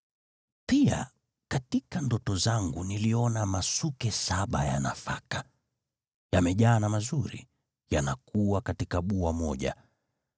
“Pia katika ndoto zangu niliona masuke saba ya nafaka, yamejaa na mazuri, yanakua katika bua moja.